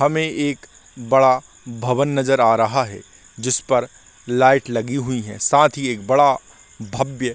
हमें एक बड़ा भवन नज़र आ रहा है जिस पर लाइट लगी हुई है साथ ही एक बड़ा भव्य--